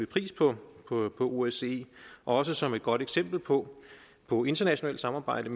pris på osce også som et godt eksempel på på internationalt samarbejde